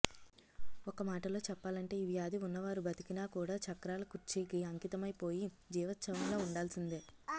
ఒక్కమాటలో చెప్పాలంటే ఈ వ్యాధి ఉన్నవారు బతికినా కూడా చక్రాల కుర్చీకి అంకితమైపోయి జీవచ్ఛవంలా ఉండాల్సిందే